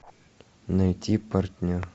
найти партнер